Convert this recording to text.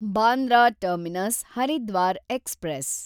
Bandra Terminus Haridwar express